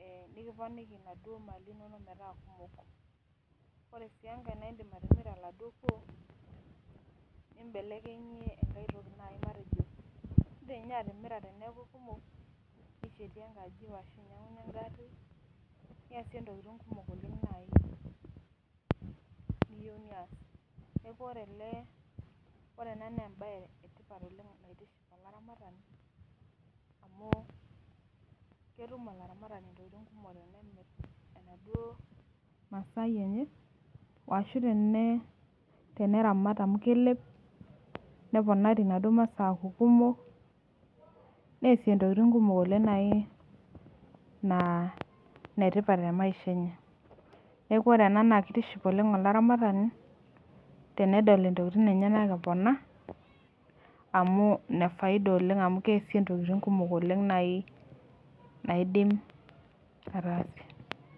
eh nikiponiki naduo  mali inonok metaa kumok. Ore sii engai naaindim atimira oladuo kuoo nimbelekenyie engai toki nai matejo indim ninye atimira teneaku kumok nishetie enkaji ashu inyang'unye engarri niasie intokitin kumok oleng' nai niyou nias. Neaku ore ele, orena neembaye etipat oleng' naitiship olaramatani amu ketum olaramatani intokitin kumok tenimirr enaduo masai enye ashu tenee teneramat amu kelep neponari naduo masaa aaku kumok neasie ntokitin kumok oleng' nai naa netipat temaisha enye. Neaku orena naakeitiship oleng' olaramatani tenedol intokitin enyenak epona amu nefaida oleng' amu keasie ntokitin kumok oleng' nai naaidim ataasie.